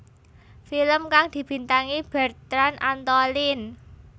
Film kang dibintangi Bertrand Antolin